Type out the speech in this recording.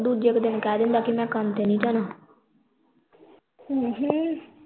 ਦੂਜੇ ਕਾ ਦਿਨ ਕਹਿ ਦਿੰਦਾ ਕੇ ਮੈ ਕੰਮ ਤੇ ਨਹੀਂ ਜਾਣਾ